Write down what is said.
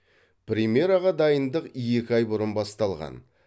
премьераға дайындық екі ай бұрын басталған